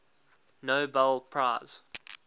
nobel prize